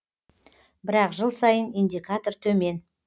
бірақ жыл сайын индикатор төмен